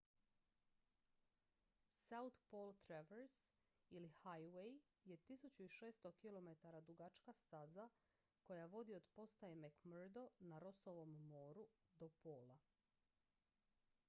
south pole traverse ili highway je 1600 km dugačka staza koja vodi od postaje mcmurdo na rossovom moru do pola